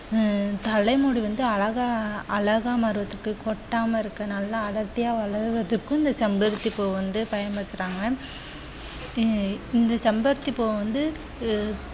ஆஹ் தலை முடி வந்து அழகா அழகா மாறுவதற்கு கொட்டாமல் இருக்க நல்ல அடர்த்தியாக வளர்ப்பதற்கும் இந்த செம்பருத்தி பூ வந்து பயன்படுத்துறாங்க. அஹ் இந்த செம்பருத்தி பூவ வந்து